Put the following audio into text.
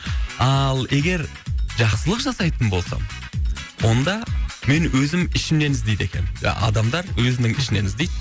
ал егер жақсылық жасайтын болсам онда мен өзім ішімнен іздейді екенмін адамдар өзінің ішінен іздейді